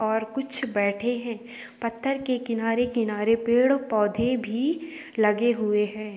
और कुछ बैठे हैं पत्थर के किनारे-किनारे पेड़ - पौधे भी लगे हुए हैं।